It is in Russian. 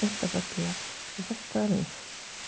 это во-первых во-вторых